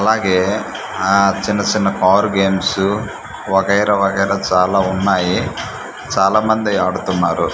అలాగే ఆ చిన్న చిన్న పవర్ గేమ్సు వగైరా వగైరా చాలా ఉన్నాయి చాలామంది ఆడుతున్నారు.